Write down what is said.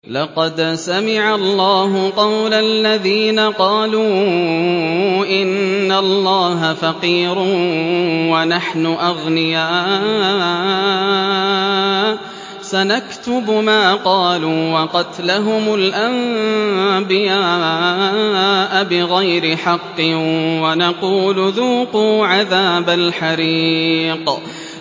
لَّقَدْ سَمِعَ اللَّهُ قَوْلَ الَّذِينَ قَالُوا إِنَّ اللَّهَ فَقِيرٌ وَنَحْنُ أَغْنِيَاءُ ۘ سَنَكْتُبُ مَا قَالُوا وَقَتْلَهُمُ الْأَنبِيَاءَ بِغَيْرِ حَقٍّ وَنَقُولُ ذُوقُوا عَذَابَ الْحَرِيقِ